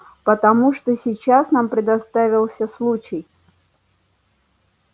потому что сейчас нам предоставился случай